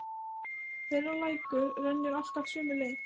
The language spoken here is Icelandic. Þeirra lækur rennur alltaf sömu leið.